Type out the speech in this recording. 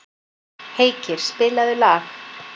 Heikir, spilaðu lag.